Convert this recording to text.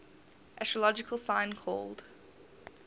astrological sign called